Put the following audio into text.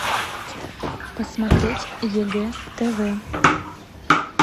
посмотреть егэ тв